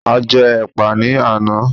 A jẹ́ ẹ̀pà ní àná